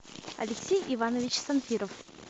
алексей иванович санфиров